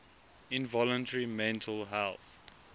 involuntary mental health